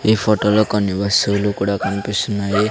ఈ ఫొటోలో కొన్ని వస్తువులు కూడా కన్పిస్తున్నాయి.